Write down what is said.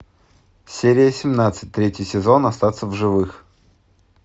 серия семнадцать третий сезон остаться в живых